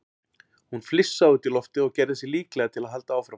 Hún flissaði út í loftið og gerði sig líklega til að halda áfram.